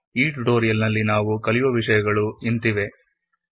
ಈ ಟ್ಯುಟೊರಿಯಲ್ ನಲ್ಲಿ ನಾವು ಕೆಳಕಂಡ ಬಗ್ಗೆ ತಿಳಿಯೋಣ